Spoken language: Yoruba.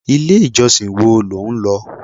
Ilé ìjọsìn wo lo ń lọ?